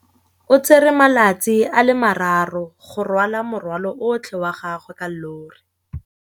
O tsere malatsi a le marraro go rwala morwalo otlhe wa gagwe ka llori.